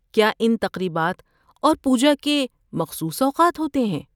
کیا ان تقریبات اور پوجا کے مخصوص اوقات ہوتے ہیں؟